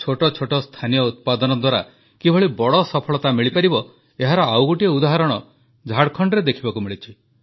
ଛୋଟ ଛୋଟ ସ୍ଥାନୀୟ ଉତ୍ପାଦନ ଦ୍ୱାରା କିଭଳି ବଡ଼ ସଫଳତା ମିଳିପାରିବ ଏହାର ଆଉ ଗୋଟିଏ ଉଦାହରଣ ଝାଡ଼ଖଣ୍ଡରେ ଦେଖିବାକୁ ମିଳିଛି